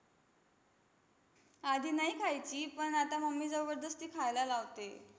आधी नाही खायची, पण आता mummy जबरदस्ती खायला लावते.